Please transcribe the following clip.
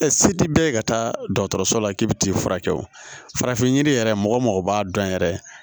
se ti bɛɛ ka taa dɔgɔtɔrɔso la k'i bɛ t'i furakɛ o farafin yiri yɛrɛ mɔgɔ b'a dɔn yɛrɛ